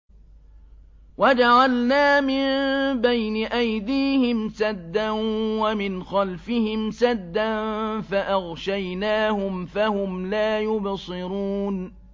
وَجَعَلْنَا مِن بَيْنِ أَيْدِيهِمْ سَدًّا وَمِنْ خَلْفِهِمْ سَدًّا فَأَغْشَيْنَاهُمْ فَهُمْ لَا يُبْصِرُونَ